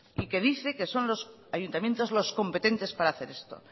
y que dice que son los ayuntamientos los competentes para hacer esto